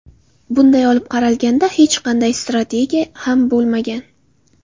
Bunday olib qaralganda, hech qanday strategiya ham bo‘lmagan.